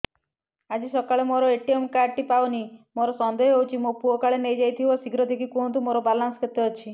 ଆଜି ସକାଳେ ମୋର ଏ.ଟି.ଏମ୍ କାର୍ଡ ଟି ପାଉନି ମୋର ସନ୍ଦେହ ହଉଚି ମୋ ପୁଅ କାଳେ ନେଇଯାଇଥିବ ଶୀଘ୍ର ଦେଖି କୁହନ୍ତୁ ମୋର ବାଲାନ୍ସ କେତେ ଅଛି